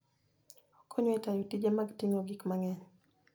Okonyo e tayo tije mag ting'o gik mang'eny.